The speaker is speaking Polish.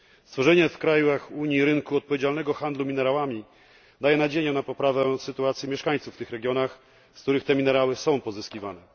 Stworzenie w krajach Unii rynku odpowiedzialnego handlu minerałami daje nadzieję na poprawę sytuacji mieszkańców w tych regionach, z których te minerały są pozyskiwane.